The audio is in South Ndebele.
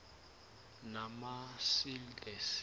namasil the sea